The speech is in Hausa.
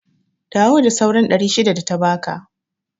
Dawo da sauran ɗari shida data baka